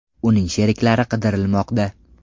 Uning sheriklari qidirilmoqda.